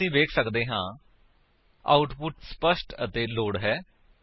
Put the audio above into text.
ਹੁਣ ਅਸੀ ਵੇਖ ਸੱਕਦੇ ਹਾਂ ਆਉਟਪੁਟ ਸਪੱਸ਼ਟ ਅਤੇ ਲੋੜ ਹੈ